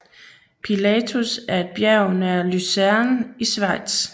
Pilatus er et bjerg nær Luzern i Schweiz